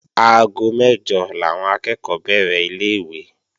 Aago mẹ́jọ làwọn akẹ́ẹ̀kọ́ bẹ̀rẹ̀ ilé-ìwé